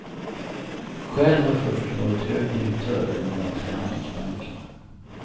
Själv har fursten varit hög direktör i den danska handelsbanken.